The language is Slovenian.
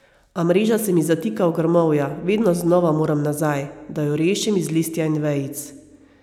A mreža se mi zatika v grmovja, vedno znova moram nazaj, da jo rešim iz listja in vejic.